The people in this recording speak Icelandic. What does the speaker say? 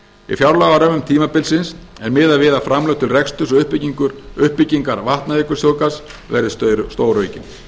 í fjárlagarömmum tímabilsins er miðað við að framlög til reksturs og uppbyggingar vatnajökulsþjóðgarðs verði stóraukin